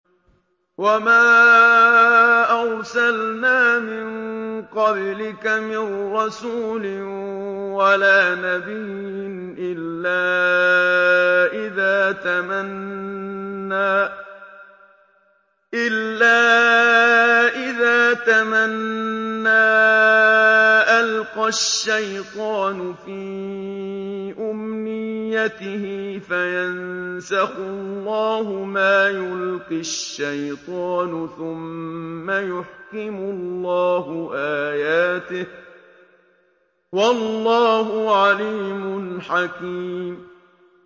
وَمَا أَرْسَلْنَا مِن قَبْلِكَ مِن رَّسُولٍ وَلَا نَبِيٍّ إِلَّا إِذَا تَمَنَّىٰ أَلْقَى الشَّيْطَانُ فِي أُمْنِيَّتِهِ فَيَنسَخُ اللَّهُ مَا يُلْقِي الشَّيْطَانُ ثُمَّ يُحْكِمُ اللَّهُ آيَاتِهِ ۗ وَاللَّهُ عَلِيمٌ حَكِيمٌ